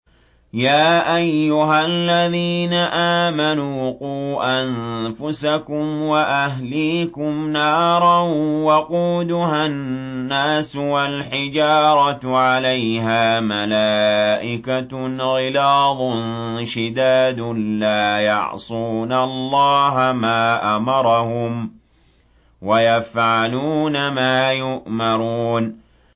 يَا أَيُّهَا الَّذِينَ آمَنُوا قُوا أَنفُسَكُمْ وَأَهْلِيكُمْ نَارًا وَقُودُهَا النَّاسُ وَالْحِجَارَةُ عَلَيْهَا مَلَائِكَةٌ غِلَاظٌ شِدَادٌ لَّا يَعْصُونَ اللَّهَ مَا أَمَرَهُمْ وَيَفْعَلُونَ مَا يُؤْمَرُونَ